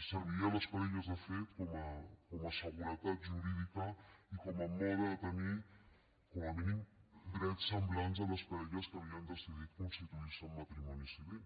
i serviria a les parelles de fet com a seguretat jurídica i com a mode de tenir com a mínim drets semblants a les parelles que havien decidit constituir se en matrimoni civil